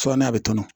n'a bɛ tɔnɔ